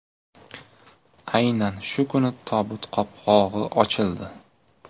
Aynan shu kuni tobut qopqog‘i ochildi.